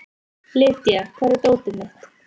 Lydia, hvar er dótið mitt?